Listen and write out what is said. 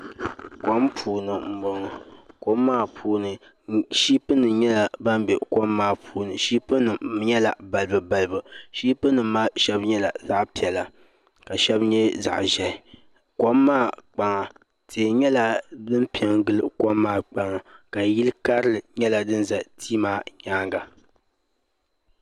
Kom puuni n boŋo kom maa puuni shiipi nim nyɛla ban bɛ kom puuni shiipi nim nyɛla balibu balibu shiipi nim maa shɛŋa nyɛla zaɣ piɛla ka shɛŋa nyɛ zaɣ ʒiɛhi kom maa kpaŋa tihi nyɛla din pɛ n gili kom maa kpaŋa ka yili karili nyɛ din ʒɛ tihi maa nyaanga